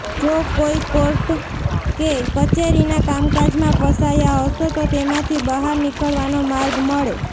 જો કોઈ કોર્ટ કે કચેરીના કામકાજમાં ફસાયા હશો તો તેમાંથી બહાર નિકળવાનો માર્ગ મળે